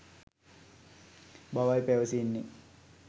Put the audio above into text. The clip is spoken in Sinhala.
බවයි පැවසෙන්නේ.